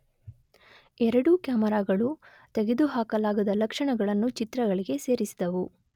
ಎರಡೂ ಕ್ಯಾಮರಾಗಳು ತೆಗೆದುಹಾಕಲಾಗದ ಲಕ್ಷಣಗಳನ್ನು ಚಿತ್ರಗಳಿಗೆ ಸೇರಿಸಿದವು